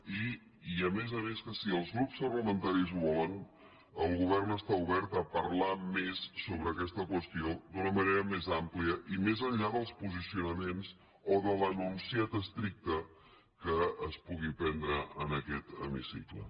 i a més a més que si els grups parlamentaris ho volen el govern està obert a parlar més sobre aquesta qüestió d’una manera més àmplia i més enllà dels posicionaments o de l’enunciat estricte que es pugui prendre en aquest hemicicle